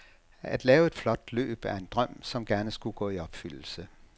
At lave et flot løb, er en drøm som gerne skulle gå i opfyldelse.